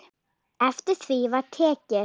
Eftir því var tekið.